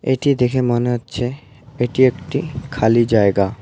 এটি দেখে মনে হচ্ছে এটি একটি খালি জায়গা।